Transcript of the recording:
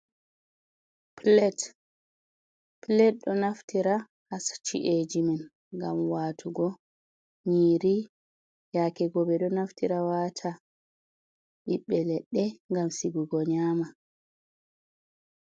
pilet ɗo naftira haa sa ci’eji men, ngam waatugo nyiiri, yaake go, ɓe ɗo naftira waata ɓiɓɓe leɗɗe, ngam sigugo nyaama.